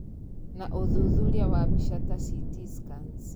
Na ũthuthuria wa mbica ta ct scans